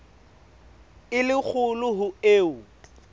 e le kgolo ho eo